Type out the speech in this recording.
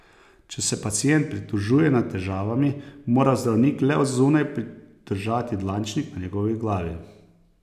Če se pacient pritožuje nad težavami, mora zdravnik le od zunaj pridržati dlančnik na njegovi glavi.